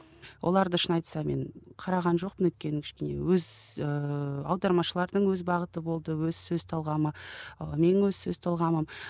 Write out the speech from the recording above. оларды шын айтсам мен қараған жоқпын өйткені кішкене өз ііі аудармашылардың өз бағыты болды өз сөз талғамы і менің өз талғамым